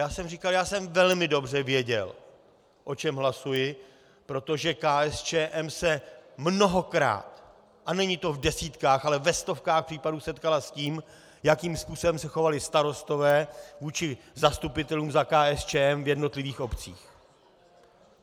Já jsem říkal, já jsem velmi dobře věděl, o čem hlasuji, protože KSČM se mnohokrát, a není to v desítkách, ale ve stovkách případů, setkala s tím, jakým způsobem se chovali starostové vůči zastupitelům za KSČM v jednotlivých obcích.